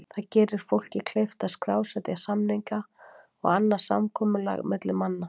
Það gerir fólki kleift að skrásetja samninga og annað samkomulag milli manna.